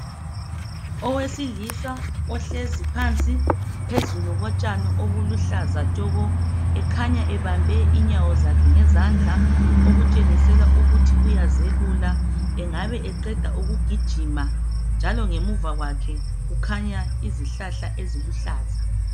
Owesilisa ohlezi phansi phezulu kotshani obuluhlaza tshoko ekhanya ebambe inyawo zakhe ngezandla okutshengisela ukuthi uyazelula. Engabe eqeda ukugijima njalo ngemuva kwakhe kukhanya izihlahla eziluhlaza.